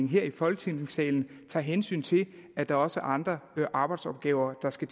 her i folketingssalen tager hensyn til at der også er andre arbejdsopgaver der skal